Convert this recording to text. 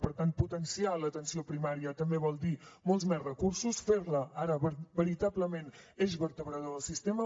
per tant potenciar l’atenció primària també vol dir molts més recursos fer la ara veritablement eix vertebrador del sistema